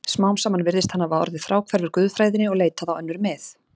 Smám saman virðist hann hafa orðið fráhverfur guðfræðinni og leitað á önnur mið.